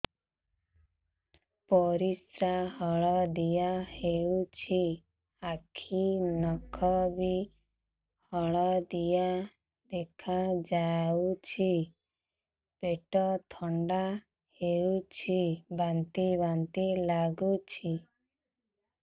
ପରିସ୍ରା ହଳଦିଆ ହେଉଛି ଆଖି ନଖ ବି ହଳଦିଆ ଦେଖାଯାଉଛି ପେଟ ବଥା ହେଉଛି ବାନ୍ତି ବାନ୍ତି ଲାଗୁଛି